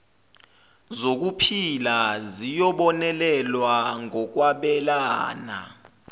zokuphila ziyobonelelwa ngokwabelana